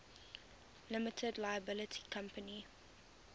limited liability company